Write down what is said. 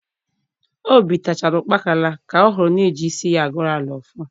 Obitechara ukpakala ka ohuru n’eji isi ya agoro ala ọfọ.